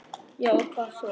Já og hvað svo?